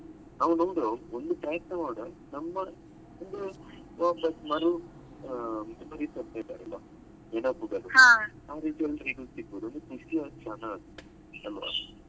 ನಾವು ನಮ್ದು ಒಂದು ಪ್ರಯತ್ನ ಮಾಡ್ವ ನಮ್ಮ ವಾಪಾಸ್ ಮರು ಆ ಇದ್ದಂತೆ ನೆನಪುಗಳು ಆ ರೀತಿಯಲ್ಲಿ ಸಿಗುದು ನಾವು sixty ಜನ ಅಲ್ವ?